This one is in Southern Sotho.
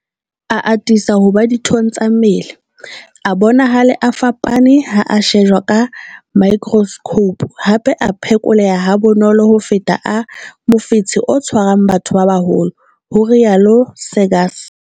A atisa ho ba dithong tsa mmele, a bonahale a fapane ha a shejwa ka maekroskhoupu, hape a phekoleha ha bonolo ho feta a mofetshe o tshwarang batho ba baholo, ho rialo Seegers.